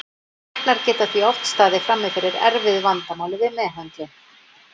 Læknar geta því oft staðið frammi fyrir erfiðu vandamáli við meðhöndlun.